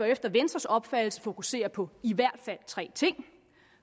efter venstres opfattelse fokusere på i hvert fald tre ting